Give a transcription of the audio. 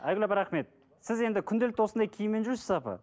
айгүл апай рахмет сіз енді күнделікті осындай киіммен жүрсіз бе апа